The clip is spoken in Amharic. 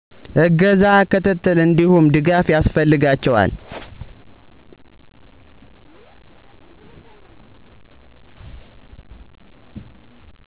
እገዛ፣ ክትትል እንዲሁም ድጋፍ ያስፈልጋቸዋል